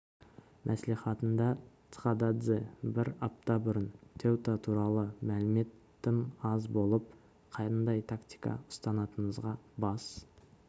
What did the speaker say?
мәслихатында цхададзе бір апта бұрын теута туралы мәлімет тым аз болып қандай тактика ұстанатынымызға бас